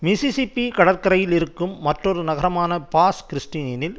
Mississippi கடற்கரையில் இருக்கும் மற்றொரு நகரமான பாஸ் கிறிஸ்டியனில்